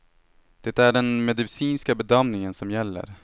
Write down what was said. Det är den medicinska bedömningen som gäller.